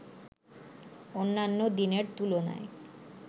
অন্যান্য দিনের তুলনায়